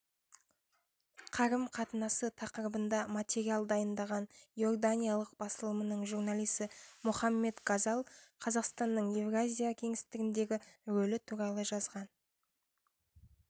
қарым-қатынасы тақырыбында материал дайындаған иорданиялық басылымының журналисі мохаммед газал қазақстанның еуразия кеңістігіндегі рөлі туралы жазған